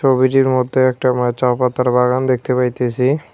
ছবিটির মধ্যে একটা মা চা পাতার বাগান দেখতে পাইতেসি।